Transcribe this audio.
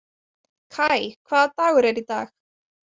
Kai, hvaða dagur er í dag?